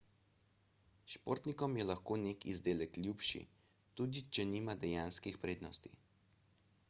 športnikom je lahko nek izdelek ljubši tudi če nima dejanskih prednosti